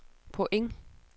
point